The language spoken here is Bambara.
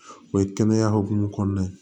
O ye kɛnɛya hukumu kɔnɔna ye